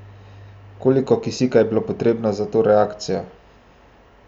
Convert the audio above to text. Koliko kisika je bilo potrebno za to reakcijo?